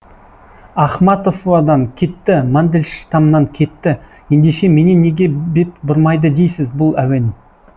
ахматовадан кетті мандельштамнан кетті ендеше менен неге бет бұрмайды дейсіз бұл әуен